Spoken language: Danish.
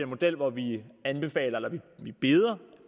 model hvor vi anbefaler eller vi beder